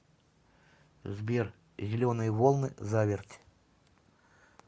сбер зеленые волны заверть